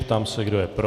Ptám se, kdo je pro.